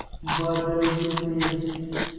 बादल ही थे